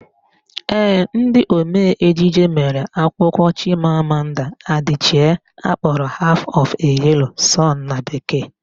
Ee, ndị omee ejije mere akwụkwọ Chimamanda Adichie akpọrọ Half of a Yellow sun na bekee